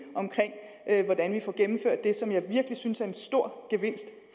om hvordan vi får gennemført det som jeg virkelig synes er en stor gevinst